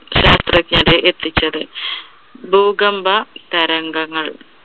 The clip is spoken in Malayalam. ചർച്ചക്കിടെ എത്തിച്ചത്. ഭൂകമ്പ തരംഗങ്ങൾ.